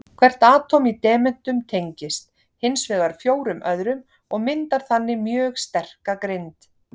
Hvert atóm í demöntum tengist hins vegar fjórum öðrum og myndar þannig mjög sterka grind.